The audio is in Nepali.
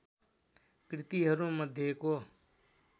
कृतिहरू मध्येको